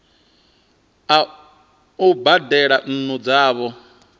a u badela nnu dzavho